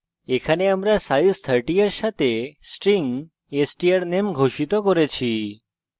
এখানে আমরা size 30 এর সাথে string strname ঘোষিত করছি